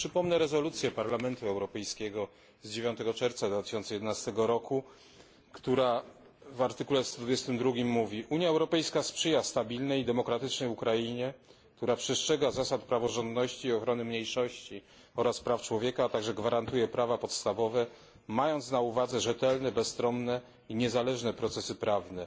Przypomnę rezolucję Parlamentu Europejskiego z dnia 9 czerwca 2011 roku, która w punkcie A mówi, że Unia Europejska sprzyja stabilnej i demokratycznej Ukrainie, która przestrzega zasad praworządności, ochrony mniejszości oraz praw człowieka, a także gwarantuje prawa podstawowe, mając na uwadze rzetelne, bezstronne i niezależne procesy prawne.